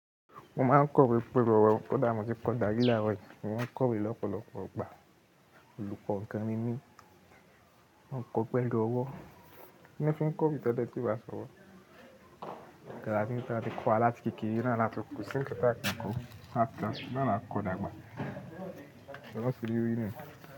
Mo máa ń kọ iwé pẹ̀lú ọwọ́, kọ̀dá mo ti kọ̀ dàrí lárọ̀ yìí, mó ń kọ wé lọ́pọlọ́po igbà. Olùkọ̀ gan ní mí, mọ ń kọ pẹ̀lú ọwọ́, mí ní mó fi ń kọ bí tadé ti bá sọ̀wọ́. Nkán tań tá ti kọ́ á láti kèèkère náà látun ko sí nkan tá ti kọ́, àti àti bí mó ń ra kọ̀dàgbà, ẹ̀lọ́ ṣe rí orí náà.